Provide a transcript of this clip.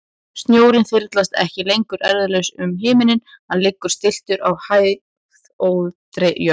Snjórinn þyrlast ekki lengur eirðarlaus um himininn, hann liggur stilltur á hæðóttri jörð.